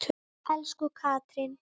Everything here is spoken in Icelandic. Elsku Katrín.